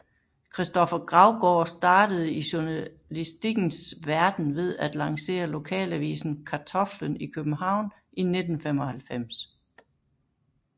Kristoffer Gravgaard startede i journalistikkens verden ved at lancere Lokalavisen Kartoflen i København i 1995